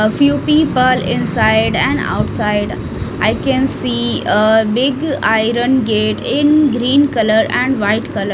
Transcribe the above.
a few people inside and outside i can see a big iron gate in green colour and white colour.